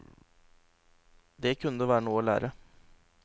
Der kunne det være noe å lære.